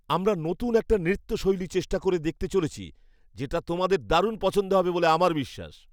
আমরা নতুন একটা নৃত্য শৈলী চেষ্টা করে দেখতে চলেছি, যেটা তোমাদের দারুণ পছন্দ হবে বলে আমার বিশ্বাস।